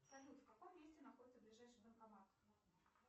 салют в каком месте находится ближайший банкомат